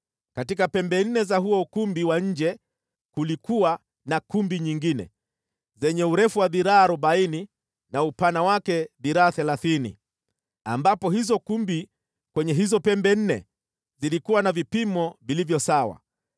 Katika pembe nne za huo ukumbi wa nje kulikuwa na kumbi nyingine, zenye urefu wa dhiraa arobaini na upana wake dhiraa thelathini, ambapo hizo kumbi kwenye hizo pembe nne zilikuwa na vipimo vilivyo sawa.